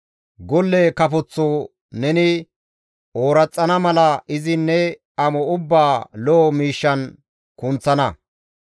Golle kafoththo neni ooraxana mala izi ne amo ubbaa lo7o miishshan kunththana.